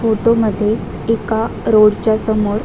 फोटोमध्ये एका रोडच्या समोर --